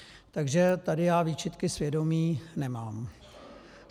Takže tady já výčitky svědomí nemám.